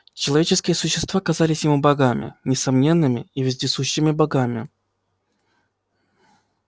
человеческие существа казались ему богами несомненными и вездесущими богами